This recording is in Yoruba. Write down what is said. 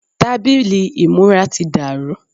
tábìlì ìmúra ti dàrú